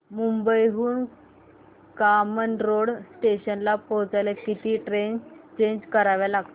मुंबई हून कामन रोड स्टेशनला पोहचायला किती ट्रेन चेंज कराव्या लागतात